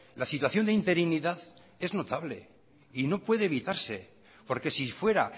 la situación de interinidad es notable y no puede evitarse porque si fuera